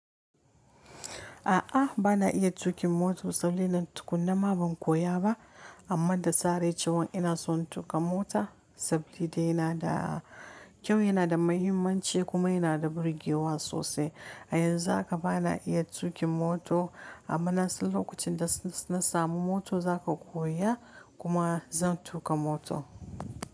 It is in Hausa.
A'a, bana iya tuƙin mota, sabilan tukunna ma ban koya ba. Amma da zarar cewan ina son tuƙa mota saboda yana da kyau, yana da muhimmanci kuma yana da birgewa sosai. A yanzu haka bana iya tuƙin mota amma nasan lokacin da na samu mota za ka koya kuma zan tuƙa mota.